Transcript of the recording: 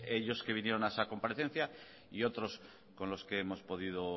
ellos que vinieron a esa comparecencia y otros con los que hemos podido